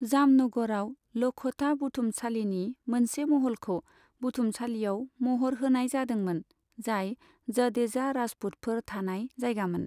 जामनगरआव लखोटा बुथुमसालिनि मोनसे महलखौ बुथुमसालियाव महर होनाय जादोंमोन, जाय जडेजा राजपुतफोर थानाय जायगामोन।